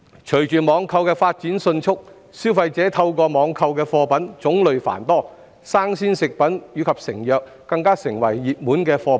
隨着網購的發展迅速，消費者透過網購的貨品種類繁多，新鮮食品及成藥更成為熱門貨品。